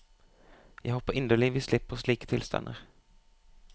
Jeg håper inderlig vi slipper slike tilstander.